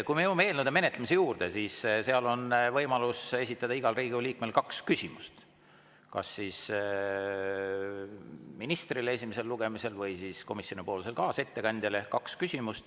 Kui me jõuame eelnõude menetlemise juurde, siis seal on võimalus esitada igal Riigikogu liikmel kaks küsimust, kas siis ministrile esimesel lugemisel või komisjonipoolsele kaasettekandjale.